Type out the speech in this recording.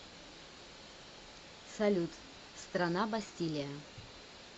салют страна бастилия